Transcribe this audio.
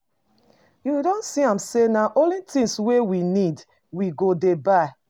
You don see am sey na only tins wey we need we go dey buy.